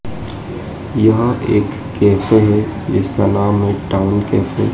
यह एक कैफे जिसका नाम मिष्ठान कैफे --